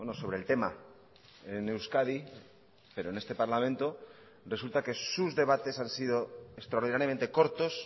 sobre el tema en euskadi pero en este parlamento resulta que sus debates han sido extraordinariamente cortos